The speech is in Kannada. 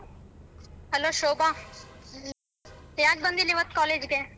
Hello ಶೋಭಾ ಯಾಕ್ ಬಂದಿಲ್ಲ ಇವತ್ತು ಕಾಲೇಜಗೇ?